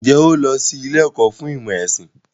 Ǹjẹ́ o lọ sí ilé ẹ̀kọ́ fún ìmọ̀ ẹ̀sìn?